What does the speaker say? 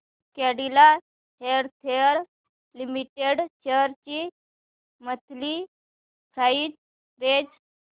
Cadila healthcare limited shares ची monthly price range